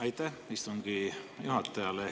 Aitäh istungi juhatajale!